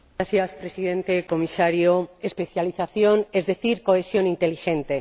Señor Presidente, Comisario, especialización, es decir, cohesión inteligente.